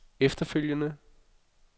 efterfølgende